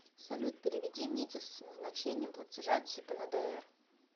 салют переведи мите с назначением платежа типа на др